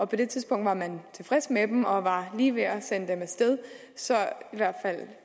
på det tidspunkt var man tilfreds med dem og var lige ved at sende dem af sted så det